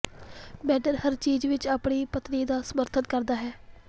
ਮੈਡਨ ਹਰ ਚੀਜ਼ ਵਿਚ ਆਪਣੀ ਪਤਨੀ ਦਾ ਸਮਰਥਨ ਕਰਦਾ ਹੈ